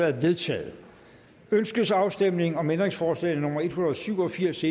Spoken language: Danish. er vedtaget ønskes afstemning om ændringsforslag nummer en hundrede og syv og firs